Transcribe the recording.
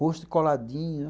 Rosto coladinho.